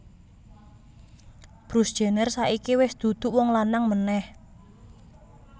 Bruce Jenner saiki wes duduk wong lanang maneh